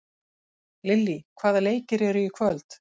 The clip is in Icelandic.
Lillý, hvaða leikir eru í kvöld?